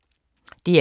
DR2